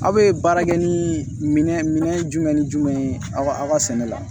Aw bɛ baara kɛ ni minɛn minɛn jumɛn ni jumɛn ye aw ka sɛnɛ la